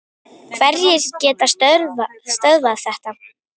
Hverjir geta stöðvað þetta?